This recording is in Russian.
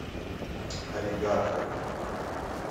аригато